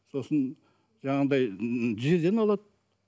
сосын жаңағыдай тізеден алады